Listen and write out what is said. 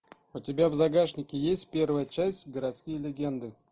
у тебя в загашнике есть первая часть городские легенды